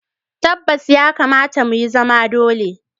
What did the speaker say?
Tabbas! ya kamata mu, ya zama dole